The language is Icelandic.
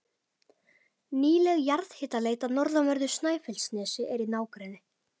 Nýleg jarðhitaleit á norðanverðu Snæfellsnesi í nágrenni